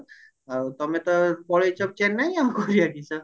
ଆଉ ତମେ ତ ପଳେଇଚ ଚେନ୍ନାଇ କରିବ କିସ